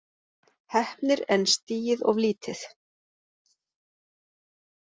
Heppnir en stigið of lítið